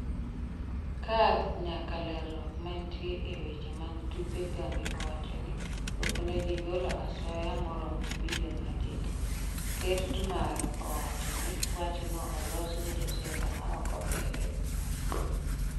Kadh nyaka lerruok manitie e weche mag tuke Kambi owacho ni oknegigolo asoya maromo bilion adek. Ker Tmar owacho ni wachno olos gi josiasa ma ok ohere.